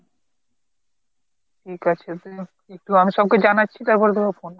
ঠিক আছে তো আমি সবকে জানাচ্ছি তারপর তোকে phone করছি।